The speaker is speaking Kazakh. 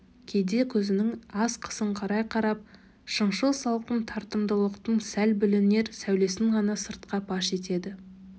кейде көзін аз қысыңқырай қарап шыншыл салқын тартымдылықтың сәл білінер сәулесін ғана сыртқа паш етеді